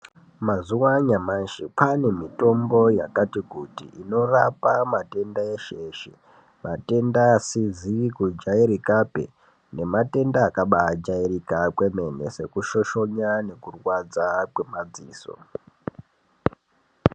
Mazuva anyamashi kwane mitombo yakati kuti inorapa matenda eshe eshe matenda asizi kujairikapi ne matenda akabai jairika kwemene seku shoshonya neku rwadza kwe madziso.